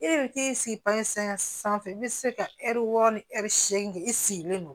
E bɛ t'i sigi pase sanfɛ sanfɛ i bɛ se ka ɛri wɔɔrɔ ni ɛri segin i sigilen don